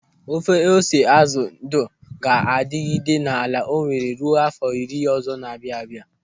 Ofe ose azụ ndụ ga-adịgide n'ala Owere ruo áfọ̀ iri ọzọ na-abịa abịa.